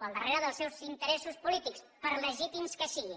o al darrere dels seus interessos polítics per legítims que siguin